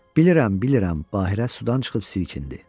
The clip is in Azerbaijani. Bilirəm, bilirəm, Bahirə sudan çıxıb silkindi.